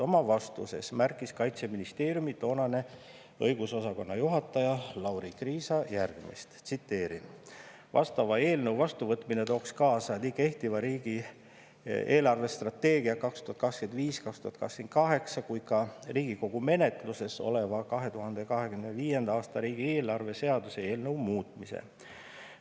Oma vastuses märkis Kaitseministeeriumi toonane õigusosakonna juhataja Lauri Kriisa järgmist: "Vastava eelnõu vastuvõtmine tooks kaasa nii kehtiva riigi eelarvestrateegia 2025-2028 kui ka Riigikogu menetluses oleva 2025.a riigieelarve seaduse eelnõu muutmise.